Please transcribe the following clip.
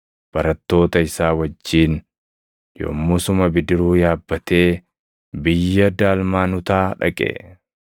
barattoota isaa wajjin yommusuma bidiruu yaabbatee biyya Daalmaanutaa dhaqe.